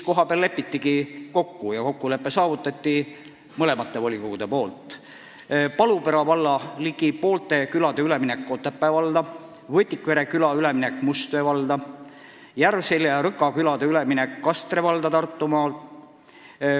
Volikogud leppisid kohapeal kokku Palupera valla ligi poolte külade ülemineku Otepää valda, Võtikvere küla ülemineku Mustjõe valda ning Järvselja ja Rõka küla ülemineku Kastre valda Tartumaal.